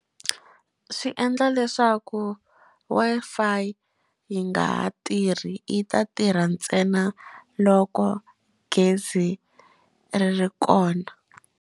Swi endla leswaku Wi-Fi yi nga ha tirhi yi ta tirha ntsena loko gezi ri ri kona.